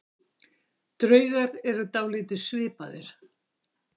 Draugar eru dálítið svipaðir.